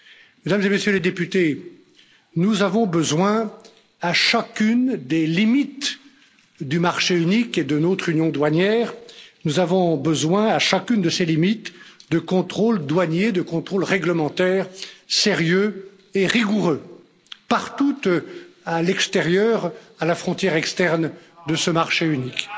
Mesdames et Messieurs les députés, nous avons besoin à chacune des limites du marché unique et de notre union douanière, nous avons besoin à chacune de ces limites de contrôles douaniers, de contrôles réglementaires sérieux et rigoureux partout, à l'extérieur, à la frontière externe de ce marché unique.